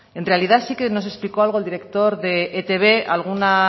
en realidad sí que nos explicó algo el director de etb alguna